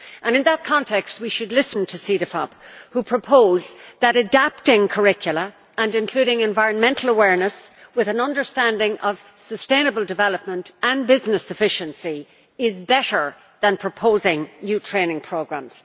In that context, we should listen to CEDEFOP who propose that adapting curricula and including environmental awareness with an understanding of sustainable development and business efficiency is better than proposing new training programmes.